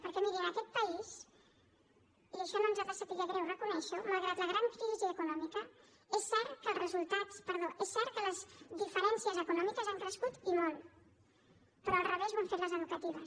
perquè miri en aquest país i això no ens ha de saber greu reconèixer ho malgrat la gran crisi econòmica és cert que les diferències econòmiques han crescut i molt però al revés ho han fet les educatives